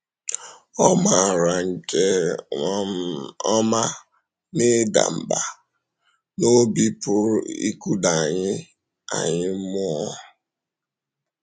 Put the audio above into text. Ọ maara nke um ọma na ịdà mbà n’obi pụrụ ịkụda anyị anyị mmụọ.